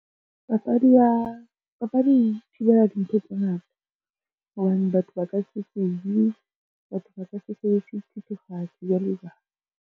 Papadi e thibela dintho tse ngata, hobane batho ba ka se tsubi, batho ba ka se sebedise dithethefatsi, jwalo jwalo.